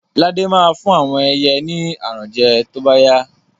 Lade ma fún àwọn ẹyẹ ni aràn jẹ to bá yá